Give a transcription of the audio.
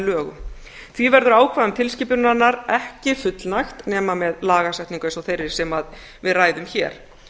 lögum því verður ákvæðum tilskipunarinnar ekki fullnægt nema með lagasetningu eins og þeirri sem við ræðum hér